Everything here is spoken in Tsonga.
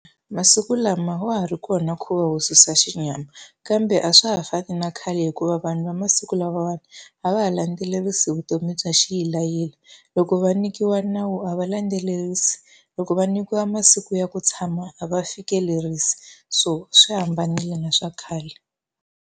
Masiku lama wa ha ri kona nkhuvo va wo susa xinyama, kambe a swa ha fani na khale hikuva vanhu va masiku lamawani a va ha landzelerisi vutomi bya xiyilayila. Loko va nyikiwa nawu a va landzelerisi, loko va nyikiwa masiku ya ku tshama a va fikelerisi. So swi hambanile na swa khale.